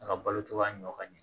A ka balo cogoya ɲɔ ka ɲi